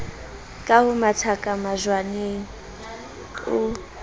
ke ho mathakaka majwaleng o